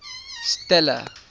stella